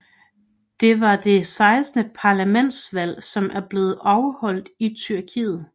Det var det 16 parlamentsvalg som er blevet holdt i Tyrkiet